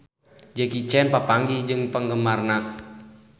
Jackie Chan papanggih jeung penggemarna